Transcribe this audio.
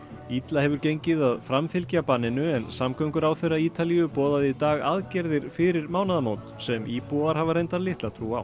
illa hefur gengið að framfylgja banninu en samgönguráðherra Ítalíu boðaði í dag aðgerðir fyrir mánaðamót sem íbúar hafa reyndar litla trú á